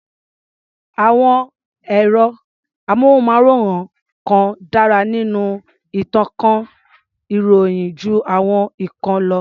Àwọn ẹ̀rọ-amóhùnmáwòrán kan dárá nínú ìtànká ìròyìn jú àwọn ìkan lọ.